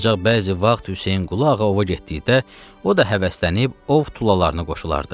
Ancaq bəzi vaxt Hüseynqulu ağa ova getdikdə, o da həvəslənib ov tulalarına qoşulardı.